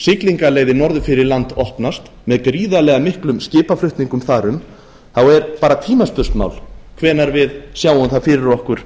siglingarleiðin norður fyrir land opnast með gríðarlega miklum skipaflutningum þar um þá er bara tímaspursmál hvenær við sjáum það fyrir okkur